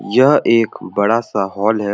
यह एक बड़ा सा हॉल है।